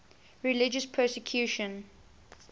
religious persecution